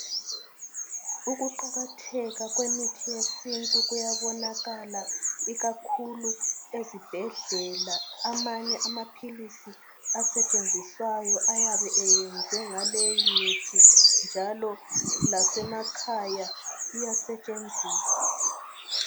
Ukuqakatheka kwemithi yesintu kuyabonakala ikakhulu ezibhedlela amanye amaphilisi asetshenziswayo ayabe eyenzwe ngaleyimithi njalo lasemakhaya iyasetshenziswa.